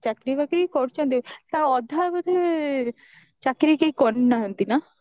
ଚାକିରି ବାକିରି କରୁଛନ୍ତି ତା ଅଧା ବୋଧେ ଚାକିରି କେହି କରି ନାହାନ୍ତି ନା